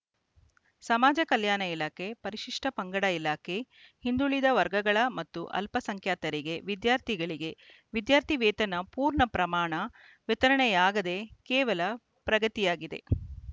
ಸಮಾಜ ಕಲ್ಯಾಣ ಇಲಾಖೆ ಪರಿಶಿಷ್ಟಪಂಗಡ ಇಲಾಖೆ ಹಿಂದುಳಿದ ವರ್ಗಗಳ ಮತ್ತು ಅಲ್ಪ ಸಂಖ್ಯಾತರಿಗೆ ವಿದ್ಯಾರ್ಥಿಗಳಿಗೆ ವಿದ್ಯಾರ್ಥಿ ವೇತನ ಪೂರ್ಣ ಪ್ರಮಾಣ ವಿತರಣೆಯಾಗದೆ ಕೇವಲ ಪ್ರಗತಿಯಾಗಿದೆ